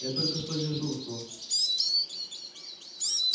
я только что с дежурства